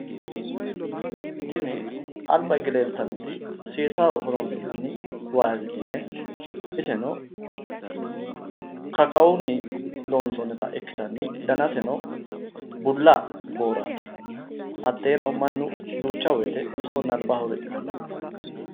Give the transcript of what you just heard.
Tini alba higge leeltannoti seessaho horonsi'nanni vaasiliine iseno, kakkahunni loonsonnita ikkitanni danaseno bulla booraati, hatteeno mannu duucha woyte bisohonna albaho riqqanno.